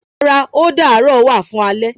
Rárá o darọ wa fún alẹ